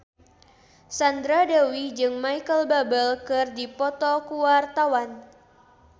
Sandra Dewi jeung Micheal Bubble keur dipoto ku wartawan